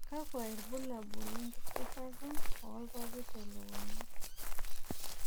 kakua irbulabol lenkidurata oorpapit te lukunya?